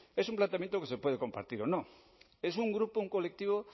es un planteamiento que se puede compartir o no es un grupo un colectivo